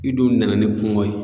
I dun nana ni kungo ye